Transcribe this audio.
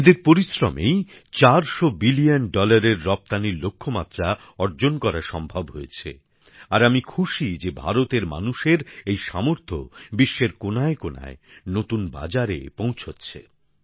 এঁদের পরিশ্রমেই চারশো বিলিয়ন ডলারের রপ্তানীর লক্ষ্যমাত্রা অর্জন করা সম্ভব হয়েছে আর আমি খুশী যে ভারতের মানুষের এই সামর্থ্য বিশ্বের কোণায়কোণায় নতুন বাজারে পৌঁছচ্ছে